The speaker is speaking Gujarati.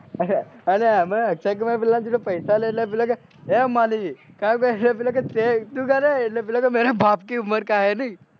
અને એમો અક્ષય કુમાર પેલા પાસે પૈસા લેતો હોય પહી શું કે એ માળી મેરે બાપકી ઉમાંરકા હે નહિ